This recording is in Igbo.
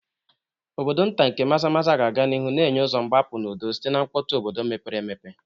Obodo nta nke Maza-maza ga-aga n'ihu na-enye ụzọ mgbapụ n'udo site na mkpọtụ obodo mepere emepe.